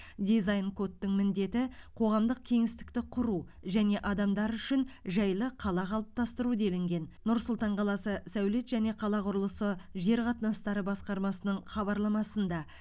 дизайн кодтың міндеті қоғамдық кеңістікті құру және адамдар үшін жайлы қала қалыптастыру делінген нұр сұлтан қаласы сәулет және қала құрылысы жер қатынастары басқармасының хабарламасында